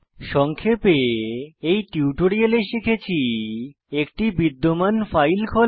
সংক্ষেপে এই টিউটোরিয়ালে শিখেছি একটি বিদ্যমান ফাইল খোলা